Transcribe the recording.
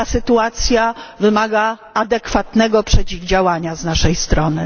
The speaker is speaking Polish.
Ta sytuacja wymaga adekwatnego przeciwdziałania z naszej strony.